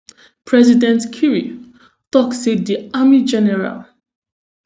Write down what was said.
president kiir tok say di army general